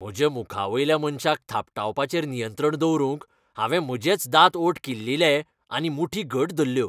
म्हज्या मुखावयल्या मनशाक थापटावपाचेर नियंत्रण दवरूंक हांवें म्हजेच दांत ओंठ किल्लीले आनी मुठी घट धरल्यो.